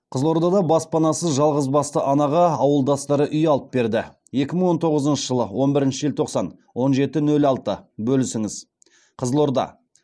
қызылордада баспанасыз жалғызбасты анаға ауылдастары үй алып берді екі мың он тоғызыншы жылы он бірінші желтоқсан он жеті нөл алты бөлісіңіз қызылорда